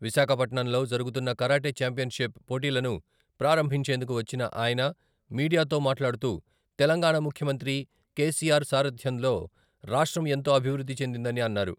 విశాఖ పట్నంలో జరుగుతున్న karate championship పోటీలను ప్రారంభించేందుకు వచ్చిన ఆయన మీడియాతో మాట్లాడుతూ తెలంగాణా ముఖ్యమంత్రి కెసిఆర్ సారథ్యంలో రాష్ట్రం ఎంతో అభివృద్ధి చెందిందని అన్నారు.